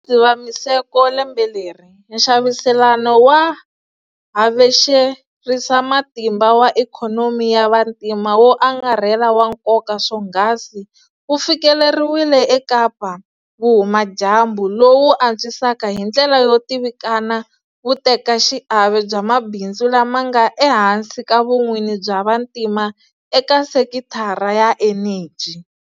Dzivamisoko lembe leri, nxaviselano wa havexerisamatimba wa ikhonomi ya vantima wo angarhela wa nkoka swonghasi wu fikeleriwile eKapa-Vuhuma dyambu lowu wu antswisaka hi ndlela yo tivikana vutekaxiave bya mabindzu lama nga ehansi ka vun'wini bya vantima eka sekitara ya eneji.